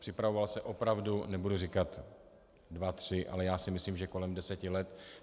Připravoval se opravdu - nebudu říkat dva, tři, ale já si myslím, že kolem deseti let.